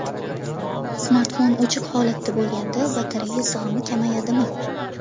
Smartfon o‘chiq holatda bo‘lganda batareya sig‘imi kamayadimi?